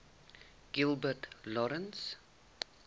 gilbert lawrence